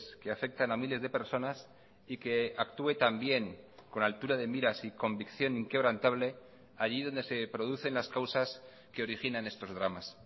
que afectan a miles de personas y que actúe también con altura de miras y convicción inquebrantable allí donde se producen las causas que originan estos dramas